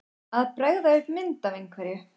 Að bregða upp mynd af einhverju